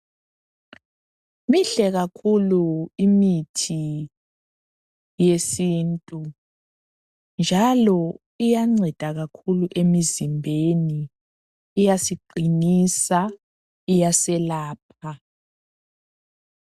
Mihle kakhulu imithi yesintu njalo iyanceda kakhulu emzimbeni iyasiqinisa iyaselapha.